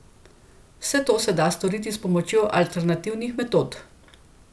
Vse to se da storiti s pomočjo alternativnih metod.